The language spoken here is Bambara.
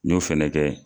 N y'o fɛnɛ kɛ